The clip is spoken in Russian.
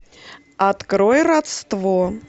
открой родство